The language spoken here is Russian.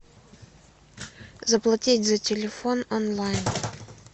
заплатить за телефон онлайн